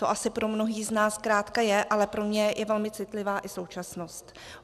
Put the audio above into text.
To asi pro mnohé z nás zkrátka je, ale pro mě je velmi citlivá i současnost.